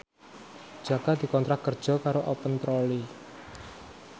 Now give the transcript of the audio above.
Jaka dikontrak kerja karo Open Trolley